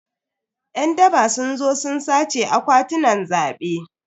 Yan daba sun zo sun sace akwatunan zabe.